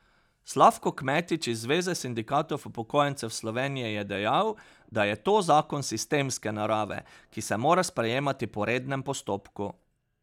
Slavko Kmetič iz Zveze sindikatov upokojencev Slovenije je dejal, da je to zakon sistemske narave, ki se mora sprejemati po rednem postopku.